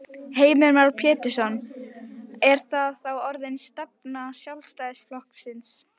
Heimir Már Pétursson: Er það þá orðin stefna Sjálfstæðisflokksins?